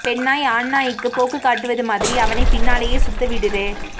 பெண்நாய் ஆண்நாய்க்கு போக்கு காட்டுவது மாதிரி அவனை பின்னாலே சுத்த விடுறே